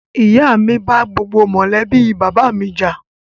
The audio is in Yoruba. Ìyá mi bá gbogbo mọ́lẹ̀bi bàbá mi jà